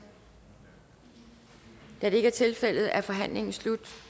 da det ikke er tilfældet er forhandlingen slut